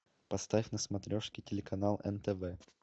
поставь на смотрешке телеканал нтв